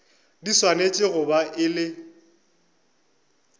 di swanetše go ba le